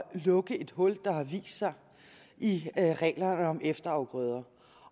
lukke et hul der har vist sig i reglerne om efterafgrøder